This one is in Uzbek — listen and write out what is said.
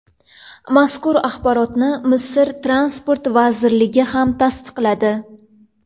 Mazkur axborotni Misr Transport vazirligi ham tasdiqladi.